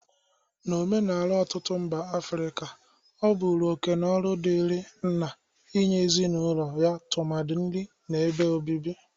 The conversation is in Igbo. N'omenala ọtụtụ mba Afrịka, ọ bụru oke na ọrụ dịri nna inye ezinaụlọ ya tụmadị nri na ebe obibi.